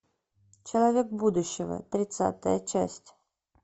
человек будущего тридцатая часть